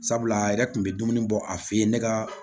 Sabula a yɛrɛ kun bɛ dumuni bɔ a fɛ yen ne ka